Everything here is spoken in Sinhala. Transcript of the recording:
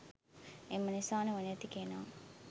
එම නිසා නුවණැති කෙනා